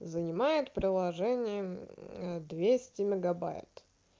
занимает приложение двести мегабайт